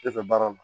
E fɛ baara la